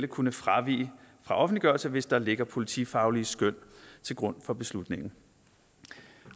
kunne fravige fra offentliggørelse hvis der ligger politifaglige skøn til grund for beslutningen